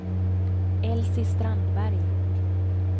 Elsie Strandberg